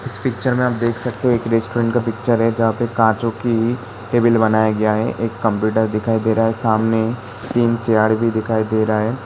इस पिक्चर में आप देख सकते हो एक रेस्टोरेंट का पिक्चर है जहाँ पे काँचो की टेबल बनाया गया है। एक कंप्युटर दिखाई दे रहा है सामने तीन चेयर भी दिखाई दे रहा हैं।